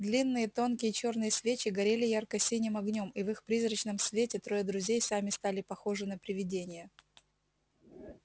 длинные тонкие чёрные свечи горели ярко-синим огнём и в их призрачном свете трое друзей сами стали похожи на привидения